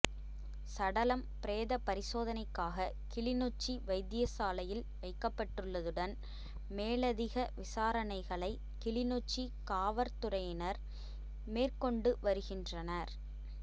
சடலம் பிரேத பரிசோதனைக்காக கிளிநொச்சி வைத்தியசாலையில் வைக்கப்பட்டுள்ளதுடன் மேலதிக விசாரணைகளை கிளிநொச்சி காவற்துறையினர் மேற்கொண்டு வருகின்றனர்